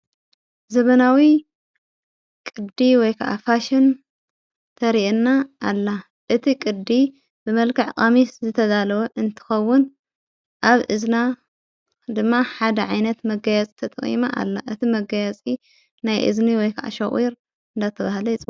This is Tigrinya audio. ዘበናዊ ቅዲ ወይከዓ ፋሽን ተርእና ኣላ እቲ ቕዲ ብመልካዕ ቀሚስ ዝተዛለወ እንትኸውን ኣብ እዘና ድማ ሓደ ዓይነት መገያጽ ተተውመ ኣላ እቲ መገያጺ ናይ እዝኒ ወይከዓ ሸቝር እንዳ ተብሃለ ይጸዋዕ።